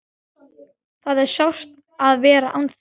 Það er sárt að vera án þín.